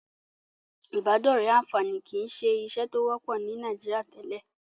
Ìbádọ́rẹ̀ẹ́ àǹfààní kìí ṣe ìṣe tó wọ́pọ̀ ní Nàìjíríà tẹ́lẹ̀.